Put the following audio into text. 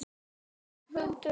Hundruð kerta loguðu.